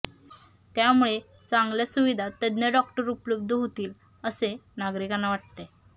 त्यामुळे चांगल्या सुविधा तज्ज्ञ डॉक्टर उपलब्ध होतील असे नागरिकांना वाटते